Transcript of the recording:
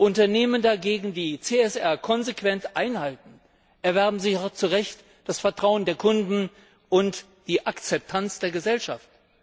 Unternehmen dagegen, die CSR konsequent einhalten, erwerben sich auch zu Recht das Vertrauen der Kunden und die Akzeptanz der Gesellschaft.